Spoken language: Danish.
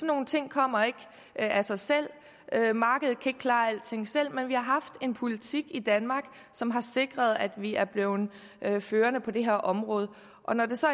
nogle ting kommer ikke af sig selv markedet kan ikke klare alting selv men vi har haft en politik i danmark som har sikret at vi er blevet førende på det her område og når det så